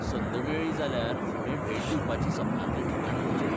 संद मेळ्ळी जाल्यार फुडें भेट दिवपाची सपनांतलें ठिकाण खंयचें?